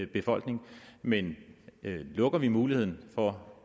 befolkning men lukker vi muligheden for